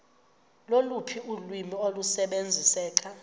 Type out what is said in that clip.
loluphi ulwimi olusebenziseka